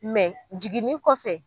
jiginni kɔfɛ